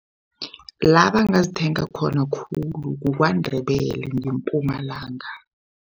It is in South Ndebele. La bangazithenga khona khulu kukwaNdebele ngeMpumalanga.